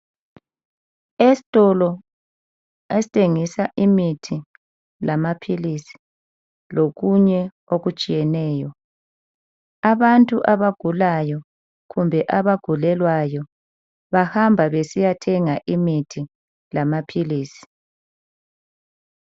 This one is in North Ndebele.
Esitolo esithengisa imithi lamaphilisi, lokunye okutshiyeneyo, abantu abagulayo kumbe abagulelwayo bahamba besiyathenga imithi lamaphilisi.